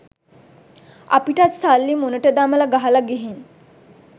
අපිටත් සල්ලි මුනට දමල ගහල ගිහින්